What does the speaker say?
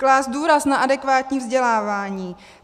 Klást důraz na adekvátní vzdělávání.